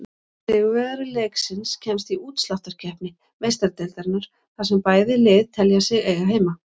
Sigurvegari leiksins kemst í útsláttarkeppni Meistaradeildarinnar, þar sem bæði lið telja sig eiga heima.